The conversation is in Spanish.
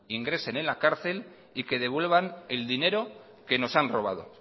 ingresen en la cárcel y que devuelvan el dinero que nos han robado